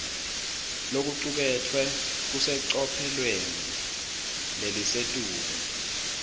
lokucuketfwe kusecophelweni lelisetulu